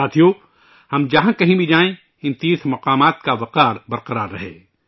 ساتھیو، ہم جہاں کہیں بھی جائیں، ان تیرتھ مقامات کا احترام قائم رہے